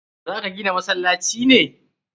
Za ka gina masallaci ne?